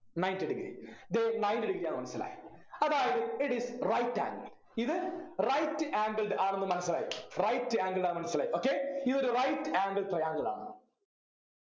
ninety degree ഇത് ninety degree ആണ് ന്നു മനസിലായി അതായത് it is right angled ഇത് right angled ആണെന്ന് മനസിലായി right angled ആണെന്ന് മനസിലായി okay ഈ ഒരു right angle triangle ആണ്